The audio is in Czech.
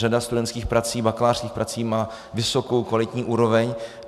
Řada studentských prací, bakalářských prací má vysokou, kvalitní úroveň.